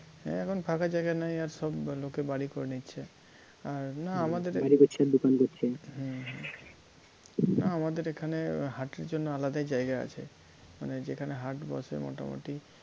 হ্যাঁ এখন আর ফাঁকা জায়গা নেই আর সব লোকে বাড়ি করে নিচ্ছে আর না আমাদের হম হম আমাদের এখানে হাটের জন্য আলাদাই জায়গা আছে মানে যেখানে হাট বসে মোটামুটি